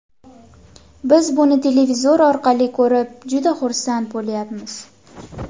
Biz buni televizor orqali ko‘rib, juda xursand bo‘lyapmiz.